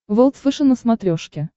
волд фэшен на смотрешке